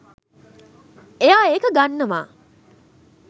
එයා එක ගන්නවා